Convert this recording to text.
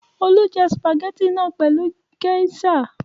Olú jẹ sìpàgẹ́tì náà pẹ̀lú géíṣà!